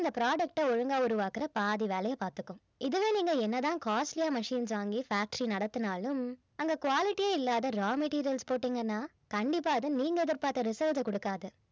அந்த product அ ஒழுங்கா உருவாக்கிற பாதி வேலைய பார்த்துக்கும் இதுவே நீங்க என்னதான் costly ஆ machines வாங்கி factory நடத்தினாலும் அங்க quality யே இல்லாத raw materials போட்டீங்கன்னா கண்டிப்பா அது நீங்க எதிர்பார்த்த results அ குடுக்காது